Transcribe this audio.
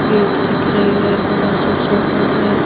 Gate दिख रही है बड़ा सा शटर है।